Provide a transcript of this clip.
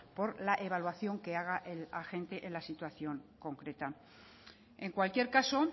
por la evaluación que haga el agente en la situación concreta en cualquier caso